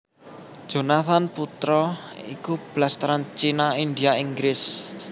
Jonathan Putra iku blasteran China India Inggris